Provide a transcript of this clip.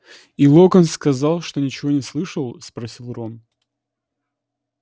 и локонс сказал что ничего не слышал спросил рон